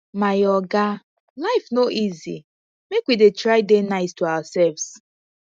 my oga life no easy make we dey try dey nice to ourselves